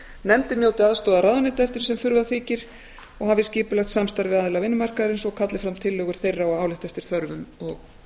nefndin njóti aðstoðar ráðuneyta eftir því sem þurfa þykir nefndin skal hafa skipulegt samstarf við aðila vinnumarkaðarins og kalla fram tillögur þeirra og álit eftir þörfum og